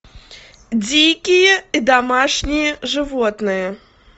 дикие и домашние животные